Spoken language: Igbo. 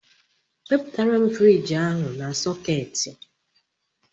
Wepụtara m furige ahụ n' sôôketi!!!!